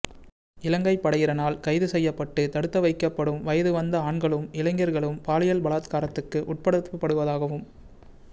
இலங்கை படையினரால் கைதுசெய்யப்பட்டு தடுத்துவைக்கபப்டும் வயதுவந்த ஆண்களும் இளைஞர்களும் பாலியல் பலாத்காரத்துக்கு உட்படுத்தப்படுவதாகவும்